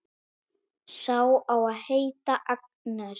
Sá á að heita Agnes.